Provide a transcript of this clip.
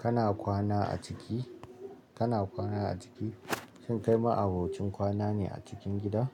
Kana kwana a ciki? Kana kwana a ciki? Shin kai ma'abocin kwana ne a cikin gida?